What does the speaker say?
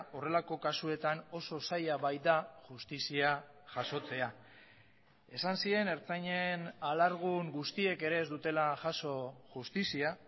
horrelako kasuetan oso zaila baita justizia jasotzea esan zien ertzainen alargun guztiek ere ez dutela jaso justizia